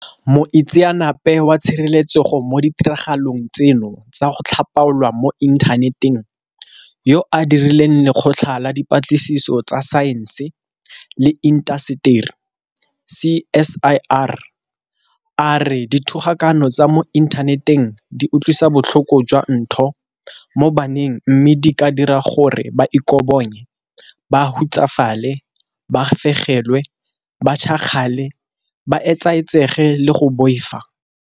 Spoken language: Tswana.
Moitseanape wa tshireletsego mo ditiragalong tseno tsa go tlhapaolwa mo inthaneteng yo a direlang Lekgotla la Di patlisiso tsa Saense le Intaseteri, CSIR, a re dithogakano tsa mo inthaneteng di utlwisa botlhoko jwa ntho mo baneng mme di ka dira gore ba ikobonye, ba hutsafale, ba fegelwe, ba tšhakgale, ba etsaetsege le go boifa.